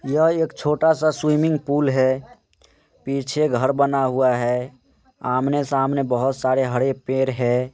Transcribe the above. यह एक छोटा सा स्विमिंग पुल है पीछे घर बना हुआ है आमने सामने बहुत सारे हरे पैड है।